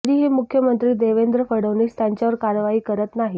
तरी ही मुख्यमंत्री देवेंद्र फडणवीस त्यांच्यावर कारवाई करत नाही